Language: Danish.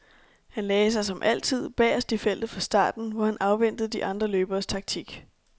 Han lagde sig, som altid, bagerst i feltet fra starten, hvor han afventede de andre løberes taktik.